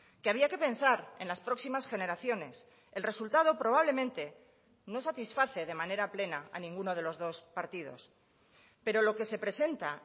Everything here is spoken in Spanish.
que había que pensar en las próximas generaciones el resultado probablemente no satisface de manera plena a ninguno de los dos partidos pero lo que se presenta